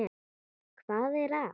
Hvað var að?